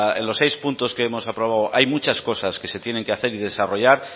en los seis puntos que hemos aprobado hay muchas cosas que se tienen que hacer y desarrollar